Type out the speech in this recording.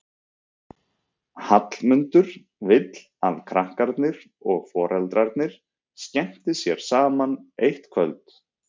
Hallmundur vill að krakkarnir og foreldrarnir skemmti sér saman eitt kvöld.